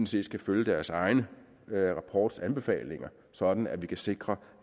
set skal følge deres egen rapports anbefalinger sådan at vi kan sikre